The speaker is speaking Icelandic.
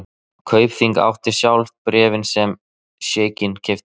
Kaupþing átti sjálft bréfin sem sjeikinn keypti.